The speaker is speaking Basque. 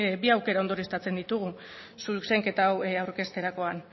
bi aukera ondorioztatzen ditugu zuzenketa hau aurkezterakoan